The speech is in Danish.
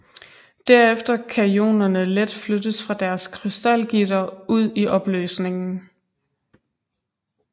Derefter kan ionerne let flyttes fra deres krystalgitter ud i opløsningen